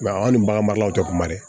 an ni bagan maralaw tɛ kuma dɛ